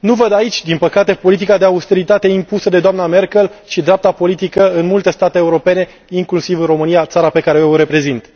Nu văd aici, din păcate, politica de austeritate impusă de doamna Merkel și dreapta politică în multe state europene, inclusiv în România, țara pe care eu o reprezint.